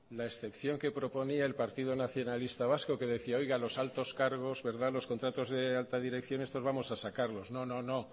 la excepción que proponía el partido nacionalista vasco que decía que los altos cargos los contratos de alta dirección estos vamos a sacarlos no no